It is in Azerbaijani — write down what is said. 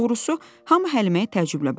Doğrusu, hamı Həliməyə təəccüblə baxdı.